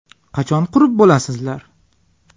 Qachon qurib bo‘lasizlar?